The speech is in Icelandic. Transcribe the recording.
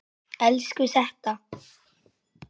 Elsku Setta.